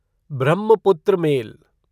Brahmaputra mail